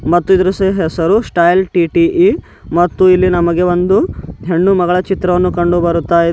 ಮತ್ತು ಇದ್ರು ಸಿಹ್ ಹೆಸರು ಸ್ಟೈಲ್ ಟಿ_ಟಿ_ಈ ಮತ್ತು ಇಲ್ಲಿ ನಮಗೆ ಒಂದು ಹೆಣ್ಣು ಮಗಳ ಚಿತ್ರವನ್ನು ಕಂಡು ಬರುತ್ತಾ ಇದೆ.